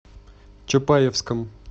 чапаевском